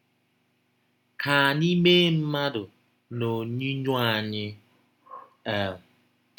“ Ka anyị mee mmadụ n’ọnyinyọ anyị. um ”